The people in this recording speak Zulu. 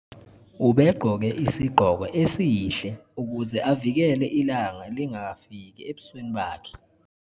ubegqoke isigqoko esihle ukuze avikele ilanga lingafiki ebusweni bakhe